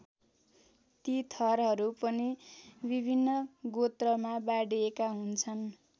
ती थरहरू पनि विभिन्न गोत्रमा बाँडिएका हुन्छन्।